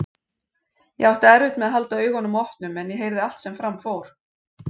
Ég átti erfitt með að halda augunum opnum en ég heyrði allt sem fram fór.